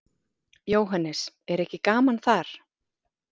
Jóhannes: Er ekki gaman þar?